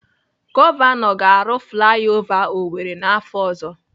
Gọvanọ ga-arụ flai ova Owerri n'afọ ọzọ.